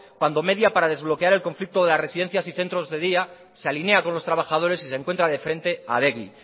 cuando media para desbloquear el conflicto de las residencias y centros de días se alinea con los trabajadores y se encuentra de frente a adegi